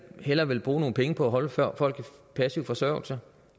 hellere vil bruge nogle penge på at holde folk i passiv forsørgelse